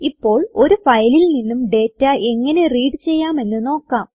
ഇപ്പോൾ ഒരു ഫയലിൽ നിന്നും ഡേറ്റ എങ്ങനെ റീഡ് ചെയ്യാമെന്ന് നോക്കാം